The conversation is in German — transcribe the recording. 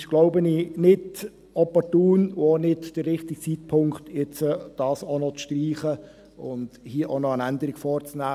Ich denke, es ist nicht opportun und auch nicht der richtige Zeitpunkt, diesen jetzt auch noch zu streichen und hier auch noch eine Änderung vorzunehmen.